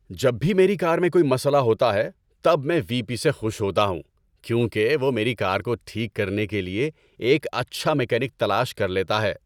جب بھی میری کار میں کوئی مسئلہ ہوتا ہے تب میں وی پی سے خوش ہوتا ہوں کیونکہ وہ میری کار کو ٹھیک کرنے کے لیے ایک اچھا میکینک تلاش کر لیتا ہے۔